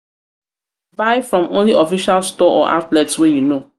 buy from only official store or outlets wey you know